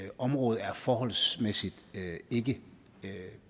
området er forholdsvis ikke